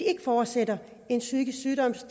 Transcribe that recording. ikke fortsætter en psykisk sygdom